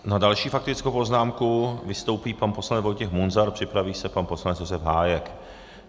S další faktickou poznámkou vystoupí pan poslanec Vojtěch Munzar, připraví se pan poslanec Josef Hájek.